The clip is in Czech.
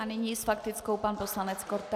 A nyní s faktickou pan poslanec Korte.